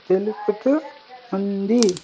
తెలుపుతూ ఉంది.